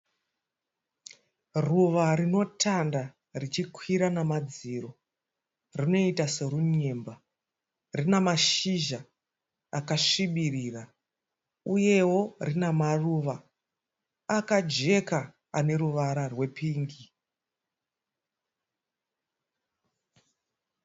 Ruva rinotanda richikwira namadziro. Rinoita serunyemba rinamashizha akasvibirira uyewo rinamaruva akajeka, aneruvara rwepingi.